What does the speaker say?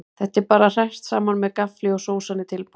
Þetta er bara hrært saman með gaffli og sósan er tilbúin.